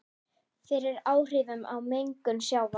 fyrir áhrifum af mengun sjávar.